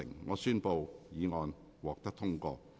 我宣布議案獲得通過。